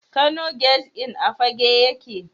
Kano Guest Inn a Fagge yake.